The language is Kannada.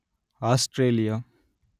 ಆಸ್ಟ್ರೇಲಿಯಾ